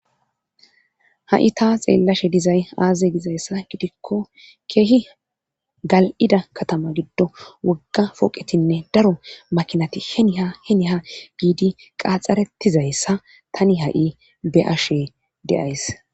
Ha'i ta xeellashe dizay aazaze dizayssa gidikko keehi gal'ida katama giddo wogga foqetinne daro makinati heniha heniha giidi qaxxarettizayssa tani ha'i be'ashe deays.